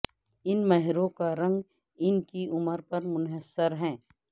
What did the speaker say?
ان مہروں کا رنگ ان کی عمر پر منحصر ہے